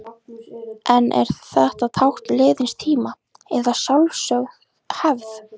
En er þetta tákn liðins tíma, eða sjálfsögð hefð?